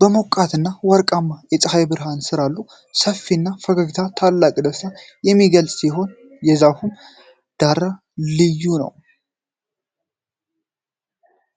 በሞቃትና ወርቃማ የፀሐይ ብርሃን ስር አሉ። ሰፊው ፈገግታ ታላቅ ደስታን የሚገልጽ ሲሆን፣ የዛፉም ዳራ ልዩ ነው።